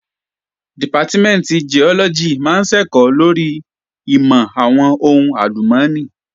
Dìpátímẹ̀ntì Giọ́lọ́gì máa ń ṣẹ̀kọ́ lórí ìmọ̀ àwọn ohùn àlùmọ́nì